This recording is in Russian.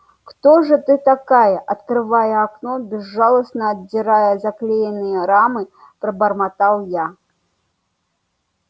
кто же ты такая открывая окно безжалостно отдирая заклеенные рамы пробормотал я